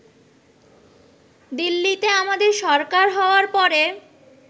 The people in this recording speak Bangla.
দিল্লিতে আমাদের সরকার হওয়ার পরে